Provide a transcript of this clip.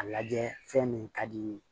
A lajɛ fɛn min ka di n ye